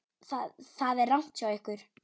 Það er rangt hjá ykkur.